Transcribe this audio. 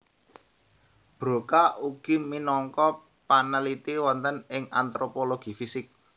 Broca ugi minangka panaliti wonten ing antropologi fisik